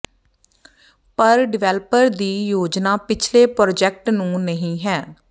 ਪਰ ਡਿਵੈਲਪਰ ਦੀ ਯੋਜਨਾ ਪਿਛਲੇ ਪ੍ਰਾਜੈਕਟ ਨੂੰ ਨਹੀ ਹੈ